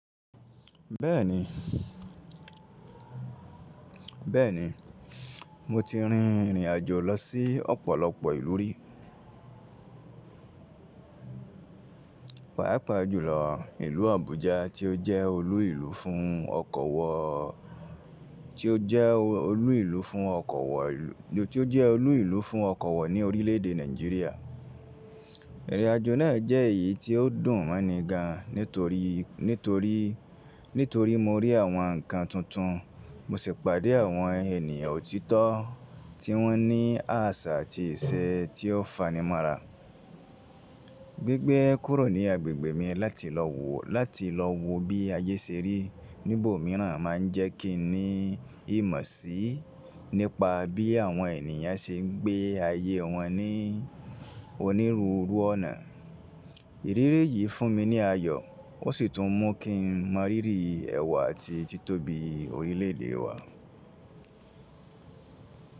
Bẹ́ẹ̀ni, bẹ́ẹ̀ni mó ti rín ìrìn àjò lọ sí ọ̀pọ̀lọpọ̀ ìlú rí. Páípà jùlọ ìlú Abuja tí ó jẹ́ olú ìlú fún ọkọ̀ wọ, tí ó jẹ́ olú ìlú fún ọkọ̀ wọ, tí ó jẹ́ olú ìlú fún ọkọ̀ wọ ní orílẹ̀èdè Nàìjíríà. Ìrìn àjò náà jẹ́ èyí tí ó dùn mí gan nítorí, nítorí, nítorí mó rí àwọn ǹkan tuntun mò sì pàdé àwọn ènìyàn òtítọ́ tí wọ́n ní àṣà àti ìṣe tí ó fanimọ́ra. Gbigbe kúrò ní agbègbè mi láti lọ wo, láti lọ wo bí ayé ṣe rí níbò míràn máa ń jẹ́ kí n ní ìmọ̀ sí nípa bí àwọn ènìyàn ṣe ń gbé ayé wọn ní onírúurú ọ̀nà. Ìrírí yìí fún mi ní ayọ̀ ó sì tún mú kí n mọrírì ẹ̀wà àti títóbi orílẹ̀èdè wá.